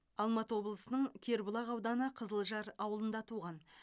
алматы облысының кербұлақ ауданы қызылжар ауылында туған